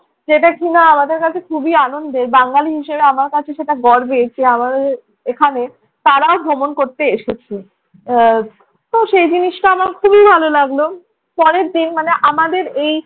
যেয়ে দেখি না আমাদের কাছে খুবই আনন্দের, বাঙালি হিসেবে আমার কাছে সেটা গর্বের যে, আমার এখানে তারাও ভ্রমণ করতে এসেছে। আহ তো সেই জিনিসটা আমার খুবই ভালো লাগলো। পরের দিন মানে আমাদের এই